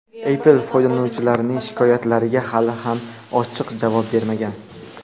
Apple foydalanuvchilarning shikoyatlariga hali ham ochiq javob bermagan.